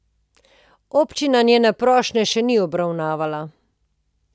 Občina njene prošnje še ni obravnavala.